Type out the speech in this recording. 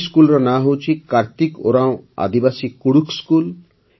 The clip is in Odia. ଏହି ସ୍କୁଲର ନାଁ ହେଉଛି କାର୍ତ୍ତିକ ଉରାଓଁ ଆଦିବାସୀ କୁଡ଼ୁଖ୍ ସ୍କୁଲ